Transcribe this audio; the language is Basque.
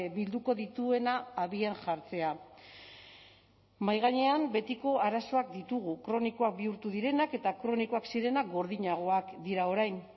bilduko dituena abian jartzea mahai gainean betiko arazoak ditugu kronikoak bihurtu direnak eta kronikoak zirenak gordinagoak dira orain